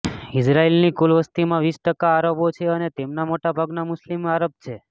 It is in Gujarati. ઇઝરાયલની કુલ વસતીમાં વીસ ટકા આરબો છે અને તેમાંના મોટાભાગના મુસ્લિમ આરબ છે